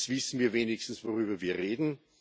Jetzt wissen wir wenigstens, worüber wir reden.